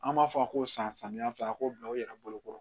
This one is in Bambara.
An b'a fɔ a ko san samiyɛ filɛ a k'o bila u yɛrɛ bolo